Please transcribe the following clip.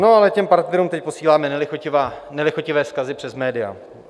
No, ale těm partnerům teď posíláme nelichotivé vzkazy přes média.